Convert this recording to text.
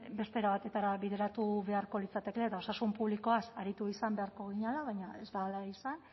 beste era batetara bideratu beharko litzatekeela eta osasun publikoaz aritu izan beharko ginela baina ez da hala izan